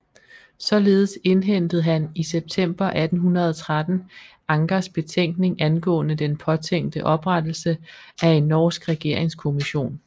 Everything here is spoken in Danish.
Således indhentede han i september 1813 Ankers betænkning angående den påtænkte oprettelse af en norsk regeringskommission